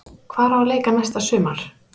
Hvar á að leika næsta sumar?